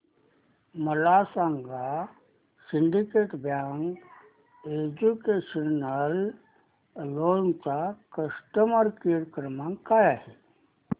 मला सांगा Syndicate bank educational loan चा कस्टमर केअर क्रमांक काय आहे